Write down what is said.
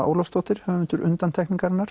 Ólafsdóttir höfundur